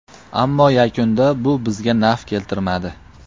Ammo yakunda bu bizga naf keltirmadi.